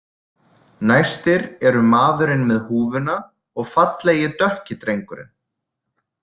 Næstir eru maðurinn með húfuna og fallegi dökki drengurinn.